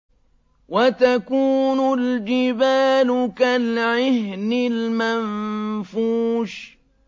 وَتَكُونُ الْجِبَالُ كَالْعِهْنِ الْمَنفُوشِ